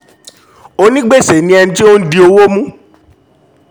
onígbèsè ni ẹni tí ó ń di ó ń di owó mú